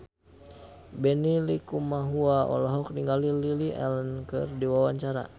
Benny Likumahua olohok ningali Lily Allen keur diwawancara